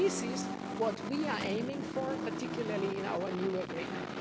This is what we are aiming for, particularly in our new agreement.